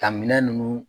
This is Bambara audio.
Ka minɛ ninnu